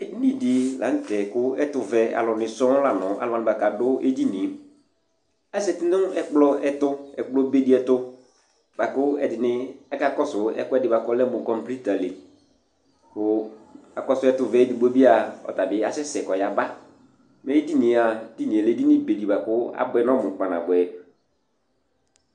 Edini dɩ la nʋ tɛ kʋ ɛtʋvɛ sɔŋ la nʋ alʋ wanɩ bʋa kʋ adʋ edini yɛ Azati nʋ ɛkplɔ ɛtʋ, ɛkplɔbe dɩ ɛtʋ bʋa kʋ ɛdɩnɩ akakɔsʋ ɛkʋɛdɩ bʋa kʋ ɔlɛ mʋ kɔmpuita li kʋ akɔsʋ ɛtʋvɛ yɛ edigbo bɩ a, ɔta bɩ asɛsɛ kʋ ɔyaba Mɛ edini yɛ a, edini yɛ lɛ edinibe dɩ bʋa kʋ abʋɛ nʋ ɔmʋ kpanabʋɛ